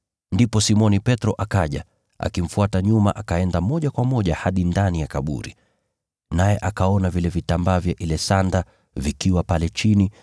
Ndipo Simoni Petro akaja, akimfuata nyuma akaenda moja kwa moja hadi ndani ya kaburi. Naye akaona vile vitambaa vya ile sanda vikiwa pale chini